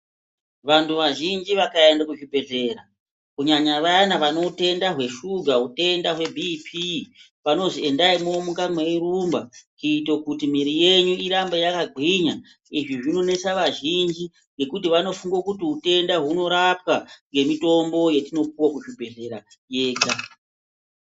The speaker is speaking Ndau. Vantu vazhinji vakaende kuzvibhedhlera ,kunyanya vayana vane utenda hweshuga, utenda hwebhiiphii, vanozi endai mwomuka mweirumba kuti mwiiri yenyu irambe yakagwinya. Izvi zvinonesa vazhinji, ngekuti vanofunge kuti utenda hunorapwa ngemitombo yatinopuwe kuzvibhedhlera yega.